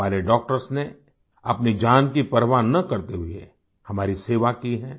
हमारे डॉक्टर्स ने अपनी जान की परवाह न करते हुए हमारी सेवा की है